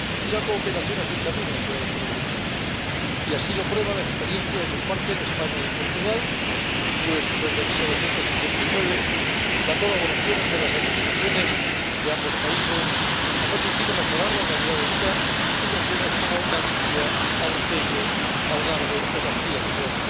La cooperación es el camino hacia el progreso y así lo prueba la experiencia que comparten España y Portugal, pues, desde 1989, la colaboración entre las administraciones de ambos países ha permitido mejorar la calidad de vida en regiones como Galicia, Alentejo, Algarve o Castilla y León.